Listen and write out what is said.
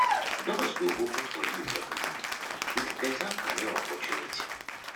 doors go open for you yakata wit beta career opportunity